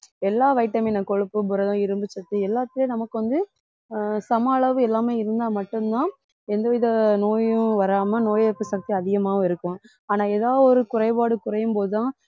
எல்லா vitamin கொழுப்பும் புரதம் இரும்பு சத்து எல்லாத்துலயும் நமக்கு வந்து ஆஹ் சம அளவு எல்லாமே இருந்தா மட்டும்தான் எந்தவித நோயும் வராம நோய் எதிர்ப்பு சக்தி அதிகமாகவும் இருக்கும் ஆனா ஏதாவது ஒரு குறைபாடு குறையும் போதுதான்